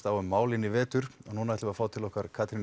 á um málefnin í vetur nú ætlum við að fá til okkar Katrínu